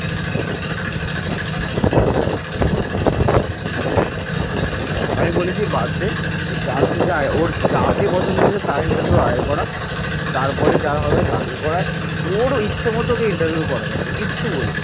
আমি বলেছি যে বাদ দে, ওর যা ইচ্ছে যাকে পছন্দ হয়েছে তার interview আগে করাক তারপর যার হবে তাকে করার ওর ইচ্ছে মতন ওকে interview করাতে দে কিছু বলবি না ।